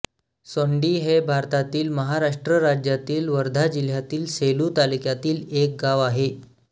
सोंडी हे भारतातील महाराष्ट्र राज्यातील वर्धा जिल्ह्यातील सेलू तालुक्यातील एक गाव आहे